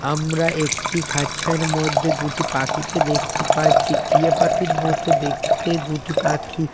আমরা একটি খাঁচার মধ্যে দুটি পাখিকে দেখতে পাচ্ছি টিয়া পাখির মতো দেখতে দুটি পাখি।